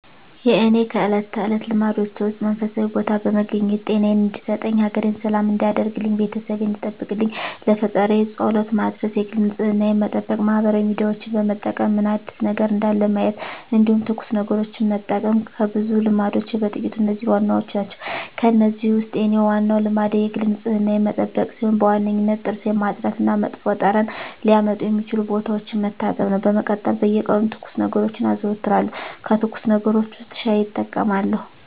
የእኔ ከእለት ተለት ልማዶቼ ውስጥ መንፈሳዊ ቦታ በመገኘት ጤናየን እንዲሰጠኝ፣ ሀገሬን ሰላም እንዲያደርግልኝ፣ ቤተሰቤን እንዲጠብቅልኝ ለፈጣሪየ ፀሎት መድረስ የግል ንፅህናየን መጠበቅ ማህበራዊ ሚዲያዎችን በመጠቀም ምን አዲስ ነገር እንዳለ ማየት እንዲሁም ትኩስ ነገሮችን መጠቀም ከብዙ ልማዶቼ በጥቂቱ እነዚህ ዋናዎቹ ናቸው። ከእነዚህ ውስጥ የኔ ዋናው ልማዴ የግል ንፅህናዬን መጠበቅ ሲሆን በዋነኝነት ጥርሴን ማፅዳት እና መጥፎ ጠረን ሊያመጡ የሚችሉ ቦታዎችን መታጠብ ነው። በመቀጠል በየቀኑ ትኩስ ነገሮችን አዘወትራለሁ ከትኩስ ነገሮች ውስጥ ሻይ እጠቀማለሁ።